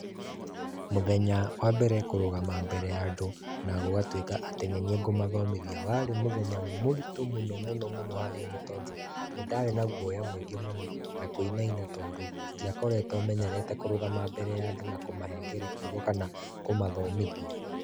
Mũthenya wa mbere kũrũgama mbere ya andũ, na gũgatuĩka atĩ nĩ niĩ ngũmathomithia, warĩ mũthenya mũritũ mũno mũno mũno harĩ niĩ tondũ, nĩ ndarĩ na guoya mũingĩ mũno, na kũinaina tondũ, ndiakoretũo menyerete kũrũgama mbere ya andũ na kũmahengere kiugo kana kũmathomithia.